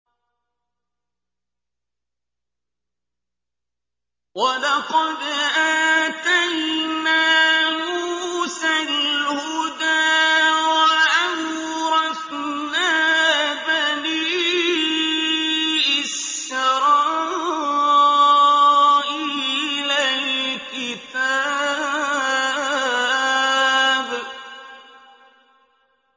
وَلَقَدْ آتَيْنَا مُوسَى الْهُدَىٰ وَأَوْرَثْنَا بَنِي إِسْرَائِيلَ الْكِتَابَ